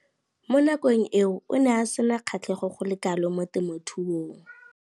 Mo nakong eo o ne a sena kgatlhego go le kalo mo temothuong.